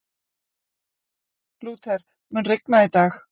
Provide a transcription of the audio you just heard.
Lúther, mun rigna í dag?